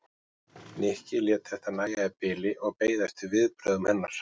Nikki lét þetta nægja í bili og beið eftir viðbrögðum hennar.